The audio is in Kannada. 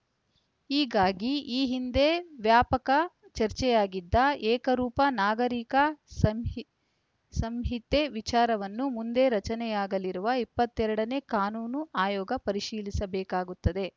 ಹೀಗಾಗಿ ಈ ಹಿಂದೆ ವ್ಯಾಪಕ ಚರ್ಚೆಯಾಗಿದ್ದ ಏಕರೂಪ ನಾಗರಿಕ ಸಂಹಿ ಸಂಹಿತೆ ವಿಚಾರವನ್ನು ಮುಂದೆ ರಚನೆಯಾಗಲಿರುವ ಇಪ್ಪತ್ತೆರಡನೇ ಕಾನೂನು ಆಯೋಗ ಪರಿಶೀಲಿಸಬೇಕಾಗುತ್ತದೆ